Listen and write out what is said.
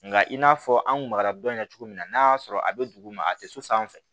Nka i n'a fɔ an kun magara dɔn in na cogo mina n'a y'a sɔrɔ a bɛ dugu ma a tɛ so sanfɛ